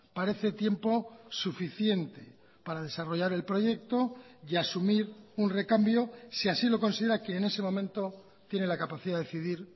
parece tiempo suficiente para desarrollar el proyecto y asumir un recambio si así lo considera que en ese momento tiene la capacidad de decidir